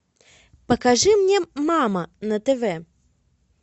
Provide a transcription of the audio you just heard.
покажи мне мама на тв